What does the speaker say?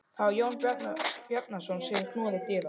Það var Jón Bjarnason sem knúði dyra.